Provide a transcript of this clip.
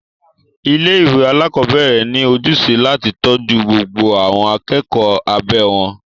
Ilé ìwé alákọ̀berẹ̀ ní ojúṣe láti tọ́jú gbogbo àwọn akẹ́kọ̀ọ́ abẹ́ wọn.